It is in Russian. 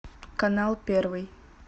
канал первый